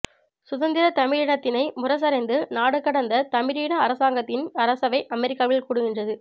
சுதந்திர தமிழீழத்தினை முரசறைந்து நாடுகடந்த தமிழீழ அரசாங்கத்தின் அரசவை அமெரிக்காவில் கூடுகின்றது